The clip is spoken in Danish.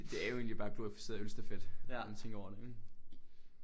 Det er jo egentlig bare glorificeret ølstafet når man tænker over det